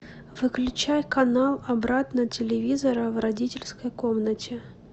выключай канал обратно телевизора в родительской комнате